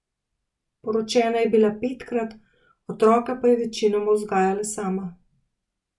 Poročena je bila petkrat, otroke pa je večinoma vzgajala sama.